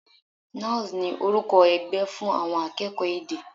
Nalls ni orúkọ ẹgbẹ́ fún àwọn akẹ́kọ̀ọ́ èdè.